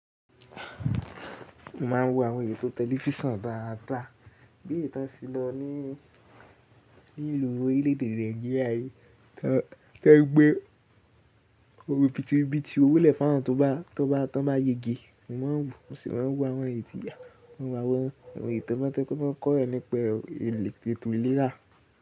Mo máa ń wo àwọn ètò tẹlifísan dáádaa, bí èyí tàn ṣe lọ ní ni ìlú orílẹ̀ èdè Naijiria, tí wọ́n gbé oribitì ribití owó lẹ̀ fu àwọn tó bá tó wọ́n bá yege. Mo máa ń wo, mo sì máa ń wo àwọn ètò mẹ́tà tó kọ́rọ̀ ẹ nípè ètò ìlera.